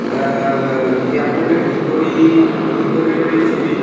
অয়্যা- ব্যা- এয়ারপোর্ট -এর ভিতরই ভিতরেরই ছবি ।